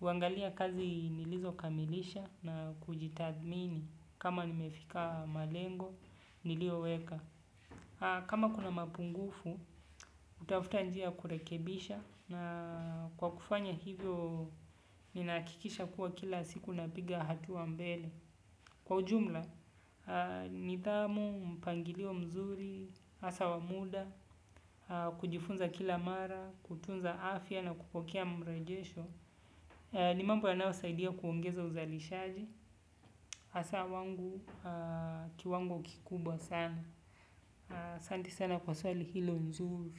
Huangalia kazi nilizokamilisha na kujitathmini kama nimefika malengo, nilioweka. Kama kuna mapungufu, hutafuta njia ya kurekebisha na kwa kufanya hivyo ninahakikisha kuwa kila siku napiga hatua mbele. Kwa ujumla, nidhamu, mpangilio mzuri hasa wa muda, kujifunza kila mara, kutunza afya na kupokea marejesho ni mambo yanayosaidia kuongeza uzalishaji hasa wangu kiwango kikubwa sana. Asanti sana kwa swali hilo nzuri.